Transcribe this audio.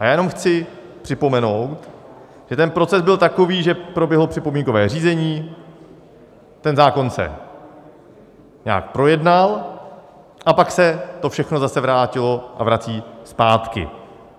A já jenom chci připomenout, že ten proces byl takový, že proběhlo připomínkové řízení, ten zákon se nějak projednal, a pak se to všechno zase vrátilo a vrací zpátky.